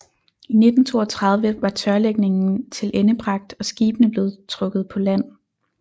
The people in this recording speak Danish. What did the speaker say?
I 1932 var tørlægningen tilendebragt og skibene blev trukket på land